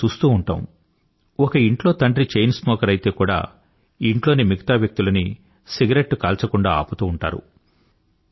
మనం చూస్తూ ఉంటాం ఒక ఇంట్లో తండ్రి చైన్ స్మోకర్ అయితే కూడా ఇంట్లోని మిగతా వ్యక్తులని సిగరెట్టు కాల్చకుండా ఆపుతూ ఉంటారు